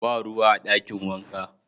Ba ruwa a dakin wanka.